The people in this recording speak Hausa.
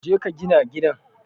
Je ka gina gidan